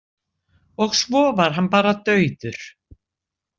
Og svo var hann bara dauður.